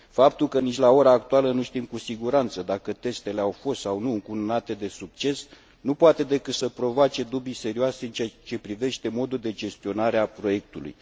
Faptul că nici la ora actuală nu știm cu siguranță dacă testele au fost sau nu încununate de succes nu poate decât să provoace dubii serioase în ceea ce privește modul de gestionare a proiectului.